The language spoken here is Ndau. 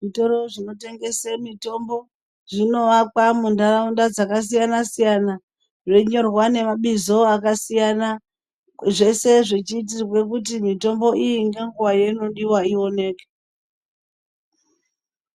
Zvitoro zvinotengese mitombo zvinowakwa muntharaunda dzakasiyana siyana. Zveinyorwa nemabizo akasiyana zveshe zvechiitirwa kuti mitombo iyi ngenguwa yeinodiwa ioneke.